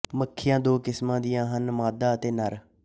ਮੱਖੀਆਂ ਦੋ ਕਿਸਮ ਦੀਆਂ ਹਨ ਮਾਦਾ ਅਤੇ ਨਰ